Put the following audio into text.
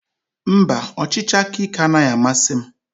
Mba, ọchịchị aka ike anaghị amasị m.